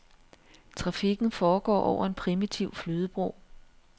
Trafikken foregår over en primitiv flydebro.